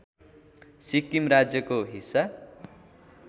सिक्किम राज्यको हिस्सा